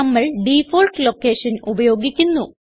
നമ്മൾ default location ഉപയോഗിക്കുന്നു